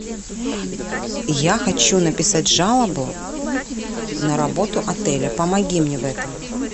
я хочу написать жалобу на работу отеля помоги мне в этом